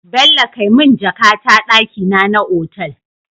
Bello kai mun jaka ta dakina na otal